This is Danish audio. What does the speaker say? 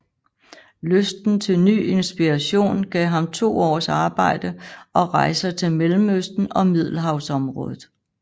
Lysten til ny inspiration gav ham to års arbejde og rejser til Mellemøsten og Middelhavsområdet